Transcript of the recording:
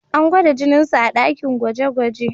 An gwada jininsa a dakin gwaje-gwaje.